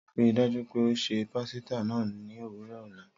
Rii daju pe o ṣe pasita naa ni owurọ ọla.